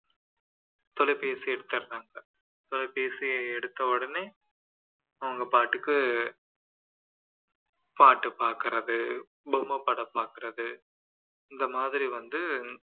தொலைபேசியை எடுத்துடறாங்க தொலைபேசியை எடுத்த உடனே அவங்கபாட்டுக்கு பாட்டு பார்க்குறது பொம்மை படம் பார்க்குறது இந்த மாதிரி வந்து